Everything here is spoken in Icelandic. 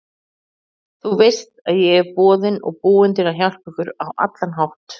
Þú veist ég er boðinn og búinn til að hjálpa ykkur á allan hátt.